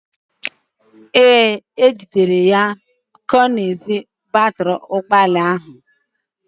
Ee, e jidere ya ka ọ na-ezu batịrị ụgbọala ahụ.